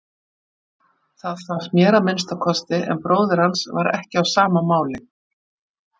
Það fannst mér að minnsta kosti en bróðir hans var ekki á sama máli.